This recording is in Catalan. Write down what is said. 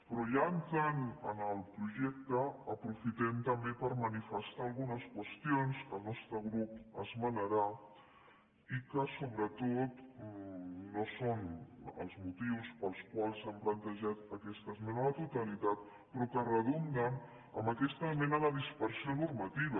però ja entrant en el projecte aprofitem també per manifestar algunes qüestions que el nostre grup esmenarà i que sobretot no són els motius pels quals s’ha plantejat aquesta esmena a la totalitat però que redunden en aquesta mena de dispersió normativa